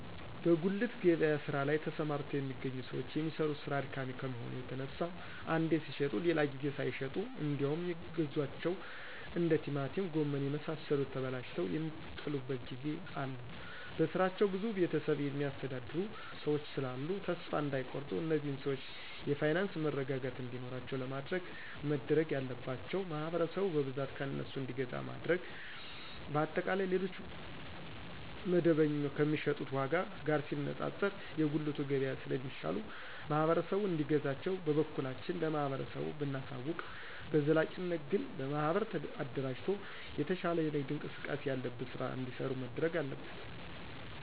በጉሊት ገበያ ስራ ላይ ተሰማርተው የሚገኙ ሰዎች የሚሰሩት ስራ አድካሚ ከመሆኑ የተነሳ አንዴ ሲሽጡ ሌላ ጊዜ ሳይሸጡ እንዴውም የገዟቸው እንደ ቲማቲም ጎመን የመሳሰሉት ተበላሽተው የሚጥሉበት ጊዜ አለ በስራቸው ብዙ ቤተሰብ የሚያስተዳድሩ ሰዎች ስላሉ ተሰፋ እዳይቆርጡ እነዚህን ሰዎች የፋይናንስ መረጋጋት እንዲኖራቸው ለማድረግ መደረግ ያለባቸው ማህበረሰቡ በብዛት ከእነሱ እንዲገዛ ማድረግ። በአጠቃላይ ሌሎች መደበኞ ከሚሸጡት ዎጋ ጋር ሲነጣጠር የጉልቱ ገብያ ስለ ሚሻሉ ማህበረሰቡ እንዲገዛቸው በበኩላችን ለማህበረሰቡ ብናሳውቅ።። በዘላቂነት ግን በማህበር አደራጅቶ የተሻለ የንግድ እንቅስቃሴ ያለበት ስራ እዲሰሩ መደረግ አለበት